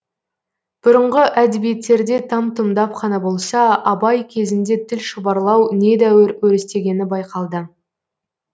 бұрынғы әдебиеттерде там тұмдап қана болса абай кезінде тіл шұбарлау недәуір өрістегені байқалды